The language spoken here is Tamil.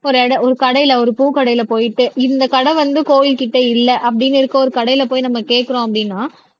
ஒரு ஒரு கடையில ஒரு பூக்கடையில போயிட்டு இந்த கடை வந்து கோயில்கிட்ட இல்லை அப்படின்னு இருக்க ஒரு கடையில போய் நம்ம கேட்கிறோம் அப்படின்னா